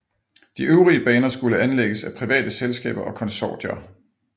De øvrige baner skulle anlægges af private selskaber og konsortier